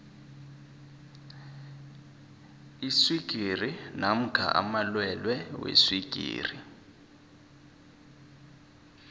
iswigiri namkha amalwelwe weswigiri